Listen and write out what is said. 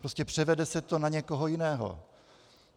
Prostě převede se to na někoho jiného.